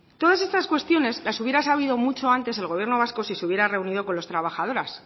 todas estas cuestiones las hubiera sabido mucho antes el gobierno vasco si se hubiera reunido con las trabajadoras